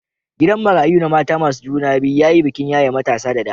Gidan marayun na mata masu juna biyu ya yi bikin yaye matasa da dama